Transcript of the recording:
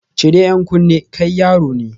Cire 'yan kunne, kai yaro ne